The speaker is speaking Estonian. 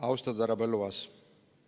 Austatud härra Põlluaas!